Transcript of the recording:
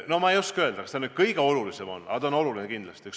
No ma ei oska öelda, kas see just kõige olulisem on, aga oluline on see kindlasti.